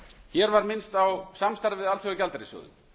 hér var minnst á samstarfið við alþjóðagjaldeyrissjóðinn